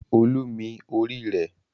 Olú mi orí rẹ̀.